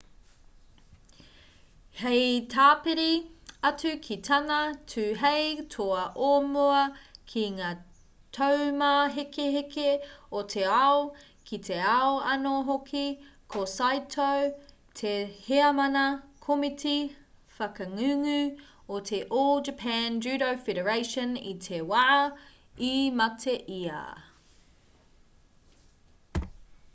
hei tāpiri atu ki tana tū hei toa o mua ki ngā taumāhekeheke o te ao ki te ao anō hoki ko saito te heamana komiti whakangungu o te all japan judo federation i te wā i mate ia